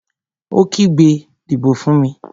Ó kígbe, "Dìbò fún mi!"